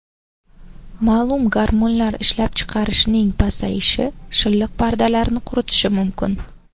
Ma’lum gormonlar ishlab chiqarishning pasayishi shilliq pardalarni quritishi mumkin.